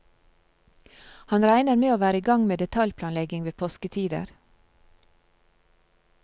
Han regner med å være i gang med detaljplanlegging ved påsketider.